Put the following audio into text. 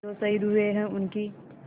जो शहीद हुए हैं उनकी